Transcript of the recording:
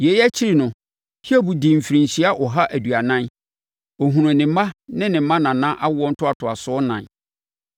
Yei akyiri no, Hiob dii mfirinhyia ɔha aduanan; ɔhunuu ne mma ne ne mmanana awoɔ ntoatoasoɔ ɛnan.